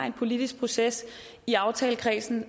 en politisk proces i aftalekredsen